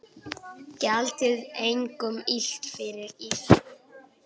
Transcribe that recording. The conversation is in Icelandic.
Gjaldið engum illt fyrir illt.